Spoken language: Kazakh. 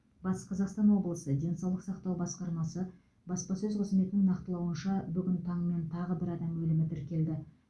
батыс қазақстан облысы денсаулық сақтау басқармасы баспасөз қызметінің нақтылауынша бүгін таңмен тағы бір адам өлімі тіркелді